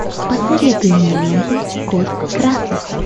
посоветуй мне ленту код красный